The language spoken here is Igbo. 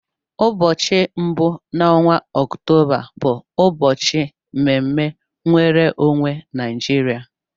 Ụbọchị mbụ n'ọnwa Ọktoba bụ ụbọchị mme mme nwere onwe Naijiria.